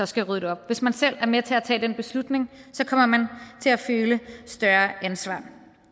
skal rydde det op hvis man selv er med til at tage den beslutning så kommer man til at føle et større ansvar